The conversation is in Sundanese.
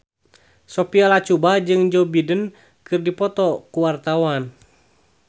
Sophia Latjuba jeung Joe Biden keur dipoto ku wartawan